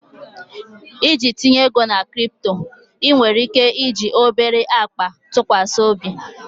Iji tinye ego na crypto, ị nwere ike iji obere akpa ntụkwasị obi?